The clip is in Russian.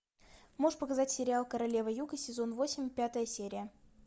можешь показать сериал королева юга сезон восемь пятая серия